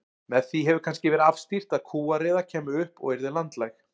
Með því hefur kannski verið afstýrt að kúariða kæmi upp og yrði landlæg.